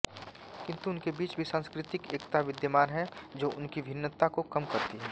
किन्तु उनके बीच भी सांस्कृतिक एकता विद्यमान है जो उनकी भिन्नता को कम करती है